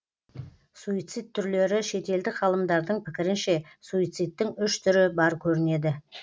суицид түрлері шетелдік ғалымдардың пікірінше суицидтің үш түрі бар көрінеді